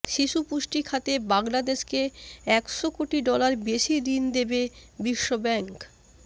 শিশুপুষ্টি খাতে বাংলাদেশকে একশো কোটি ডলার বেশি ঋণ দেবে বিশ্বব্যাঙ্ক